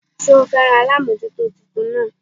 Sé o féràn alámójútó titun náà